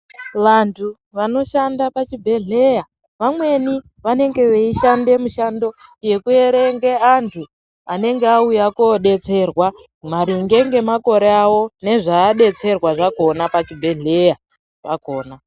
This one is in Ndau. Vantu vanoshanda pachibhedhlera, vamweni vanenge veishande mishando yekuerenge antu anenge auya kodetserwa maringe ngemakore awo nezvaadetserwa zvakhona pachibhedhlera pakhona.